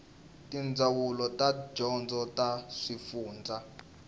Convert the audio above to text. tindzawulo ta dyondzo ta swifundzha